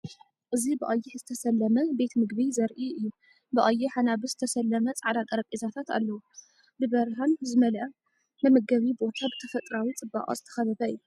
እዚ ብቐይሕ ዝተሰለመ ቤት መግቢ ዘርኢ እዩ። ብቀይሕ ኣናብስ ዝተሰለመ ጻዕዳ ጠረጴዛታት ዘለዎ። ብብርሃን ዝተመልአ መመገቢ ቦታ፣ ብተፈጥሮኣዊ ጽባቐ ዝተኸበበ እዩ።